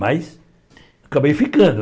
Mas, acabei ficando.